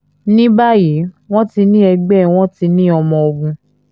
ní báyìí wọ́n ti ní ẹgbẹ́ wọn ti ní ọmọ ogun